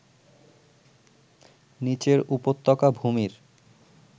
নিচের উপত্যকা ভূমির